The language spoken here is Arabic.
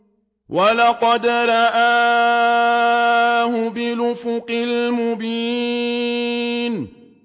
وَلَقَدْ رَآهُ بِالْأُفُقِ الْمُبِينِ